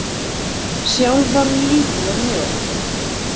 Sjálf var hún lítil og mjó.